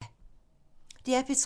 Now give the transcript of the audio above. DR P3